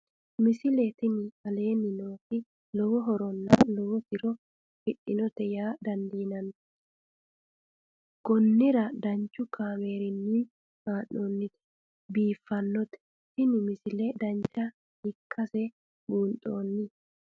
misile tini aleenni nooti lowo horonna lowo tiro afidhinote yaa dandiinanni konnira danchu kaameerinni haa'noonnite biiffannote tini misile dancha ikkase buunxanni